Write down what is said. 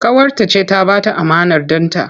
Ƙawarta ce ta ba ta amanar ɗanta.